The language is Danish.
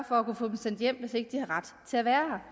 for at kunne få dem sendt hjem hvis de ikke har ret til at være